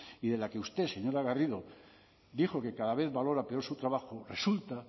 y de la que usted señora garrido dijo que cada vez valora peor su trabajo resulta